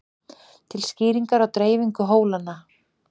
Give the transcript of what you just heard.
til skýringar á dreifingu hólanna